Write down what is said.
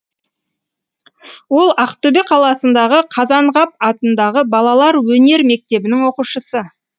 ол ақтөбе қаласындағы қазанғап атындағы балалар өнер мектебінің оқушысы